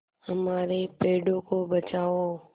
हमारे पेड़ों को बचाओ